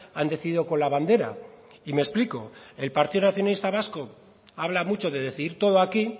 han decidido con la bandera y me explico el partido nacionalista vasco habla mucho de decidir todo aquí